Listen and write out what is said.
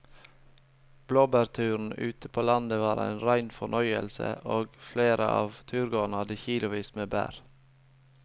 Blåbærturen ute på landet var en rein fornøyelse og flere av turgåerene hadde kilosvis med bær.